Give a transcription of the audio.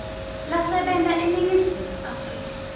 lasebenta eningizimu afrika